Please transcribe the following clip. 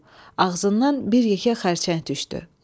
Ağzından bir yekə xərçəng düşdü.